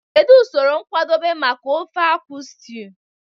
Kedu usoro nkwadebe maka ofe akwu stew?